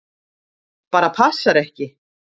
Bara passar ekki!